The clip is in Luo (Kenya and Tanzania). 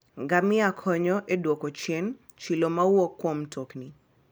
Ngamia konyo e dwoko chien chilo mawuok kuom mtokni.